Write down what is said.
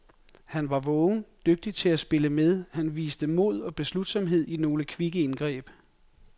Han var vågen, dygtig til at spille med, han viste mod og beslutsomhed i nogle kvikke indgreb.